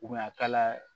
a kala la